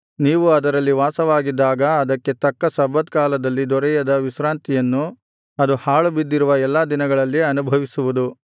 ನೀವು ಅದರಲ್ಲಿ ವಾಸವಾಗಿದ್ದಾಗ ಅದಕ್ಕೆ ತಕ್ಕ ಸಬ್ಬತ್ ಕಾಲದಲ್ಲಿ ದೊರೆಯದ ವಿಶ್ರಾಂತಿಯನ್ನು ಅದು ಹಾಳುಬಿದ್ದಿರುವ ಎಲ್ಲಾ ದಿನಗಳಲ್ಲಿ ಅನುಭವಿಸುವುದು